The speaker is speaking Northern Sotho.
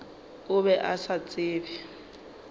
o be a sa tsebe